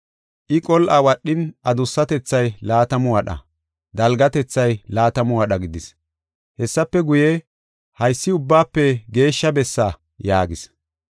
I qol7a wadhin, adussatethay laatamu wadha, dalgatethay laatamu wadha gidis. Hessafe guye, “Haysi Ubbaafe Geeshsha Bessaa” yaagis.